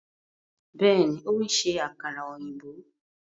Bẹẹni, o n ṣe àkàrà òyìnbó